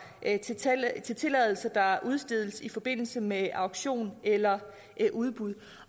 til tilladelser der udstedes i forbindelse med auktion eller udbud